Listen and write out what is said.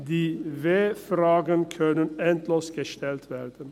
– Die W-Fragen können endlos gestellt werden.